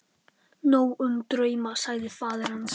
Nóg um drauma, sagði faðir hans.